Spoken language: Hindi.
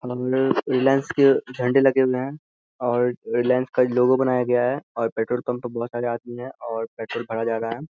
रिलायंस के झंडे लगे हुए हैं और रिलायंस का लोगो बनाया गया है और पेट्रोल पंप पे बहुत सारे आदमी है और पेट्रोल भरा जारा है।